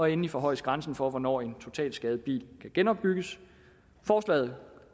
endelig forhøjes grænsen for hvornår en totalskadet bil kan genopbygges forslaget